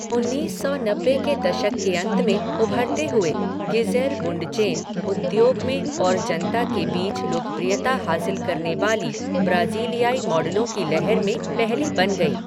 उन्नीस सौ नब्बे के दशक के अंत में उभरते हुए, गिज़ेल बुंडचेन उद्योग में और जनता के बीच लोकप्रियता हासिल करने वाली ब्राज़ीलियाई मॉडलों की लहर में पहली बन गई।